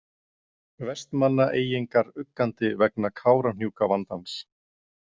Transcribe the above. Vestmannaeyingar uggandi vegna Kárahnjúkavandans.